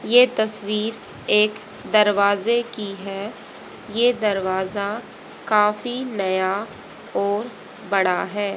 ये तस्वीर एक दरवाजे की है ये दरवाजा काफी नया और बड़ा है।